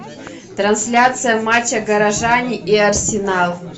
трансляция матча горожане и арсенал